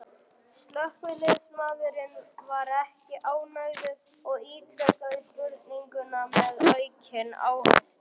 Slökkviliðsmaðurinn var ekki ánægður og ítrekaði spurninguna með aukinn áherslu.